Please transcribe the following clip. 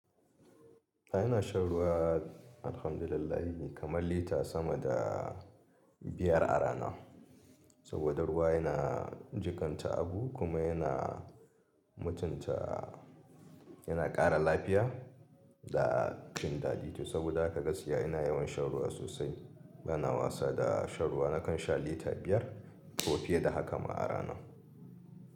A ina shan ruwa alhamdulillahi ne kamar lita sama da biyar a rana. Saboda ruwa yana jikanta abu kuma yana mutunta, yana ƙara lafiya da cin dadi to. Saboda haka gaskiya ina yawan shan ruwa sosai. Bana wasa da shan ruwa, nakan sha lita biyar ko fiye da haka ma a rana.